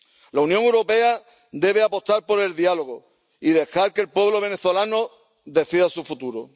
La Unión Europea debe apostar por el diálogo y dejar que el pueblo venezolano decida su futuro.